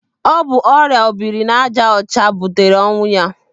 Ọ bụ ọrịa obiri n'aja ọcha butere ọnwụ ya.